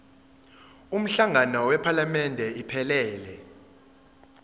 umhlangano wephalamende iphelele